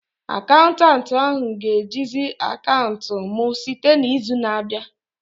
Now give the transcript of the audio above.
Akaụntanti ahu ga-ejizi akaụntụ m site n'izu na-abịa